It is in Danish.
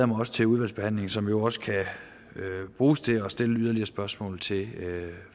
mig til udvalgsbehandlingen som jo også kan bruges til at stille yderligere spørgsmål til